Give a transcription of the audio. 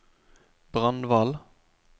Brandval